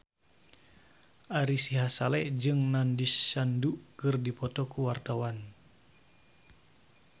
Ari Sihasale jeung Nandish Sandhu keur dipoto ku wartawan